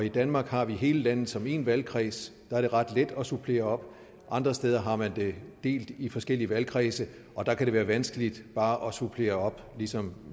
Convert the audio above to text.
i danmark har vi hele landet som én valgkreds der er det ret let at supplere op andre steder har man det delt i forskellige valgkredse og der kan det være vanskeligt bare at supplere op ligesom